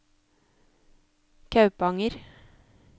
Kaupanger